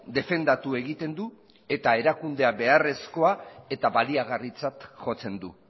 defendatu egiten du eta erakundea beharrezkoa eta baliagarritzat jotzen du